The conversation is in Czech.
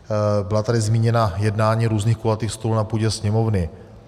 Byla tady zmíněna jednání různých kulatých stolů na půdě Sněmovny.